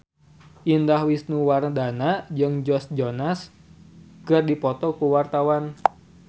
Indah Wisnuwardana jeung Joe Jonas keur dipoto ku wartawan